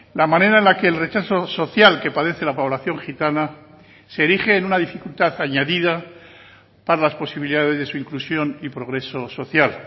la manera en la que el rechazo social que padece la población gitana se erige en una dificultad añadida para las posibilidades de su inclusión y progreso social